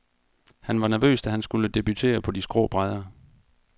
Han var nervøs, da han skulle debutere på de skrå brædder.